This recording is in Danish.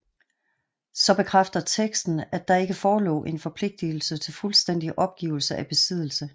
Så bekræfter teksten at der ikke forelå en forpligtelse til fuldstændig opgivelse af besiddelse